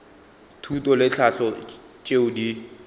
thuto le tlhahlo tšeo di